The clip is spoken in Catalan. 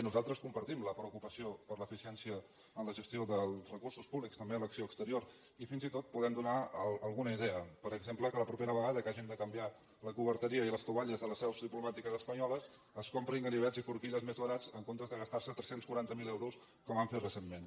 nosaltres compartim la preocupació per l’eficiència en la gestió dels recursos públics també en l’acció exterior i fins i tot podem donar alguna idea per exemple que la propera vegada que hagin de canviar la coberteria i les estovalles de les seus diplomàtiques espanyoles es comprin ganivets i forquilles més barats en comptes de gastar se tres cents i quaranta miler euros com han fet recentment